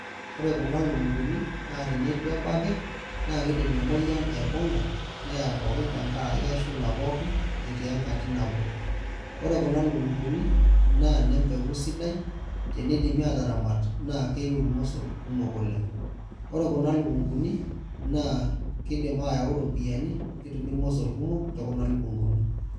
Ore kuna lukunguni na tenituebaki na kidim enoyian aibunga neya pookin tenkaraki keshula pooki etii enkaji nabo ore kuna lukunguni na nempeku nabo tenidimi ataramat na keiu irmosor kumok oleng, ore kuna lukunguni na kidim ayau ropiyani ketumu irmosor kumok tekuna lukunguni.